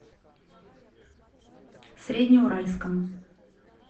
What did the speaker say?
среднеуральском